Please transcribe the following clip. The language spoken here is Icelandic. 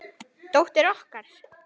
Dóttir okkar?